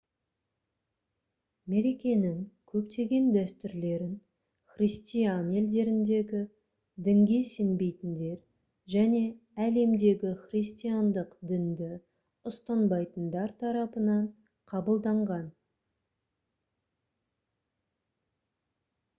мерекенің көптеген дәстүрлерін христиан елдеріндегі дінге сенбейтіндер және әлемдегі христиандық дінді ұстанбайтындар тарапынан қабылданған